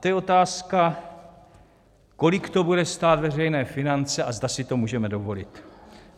To je otázka, kolik to bude stát veřejné finance a zda si to můžeme dovolit.